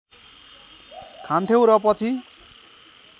खान्थ्यौँ र पछि